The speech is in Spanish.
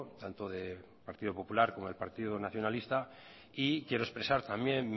tanto del partido popular como del partido nacionalista y quiero expresar también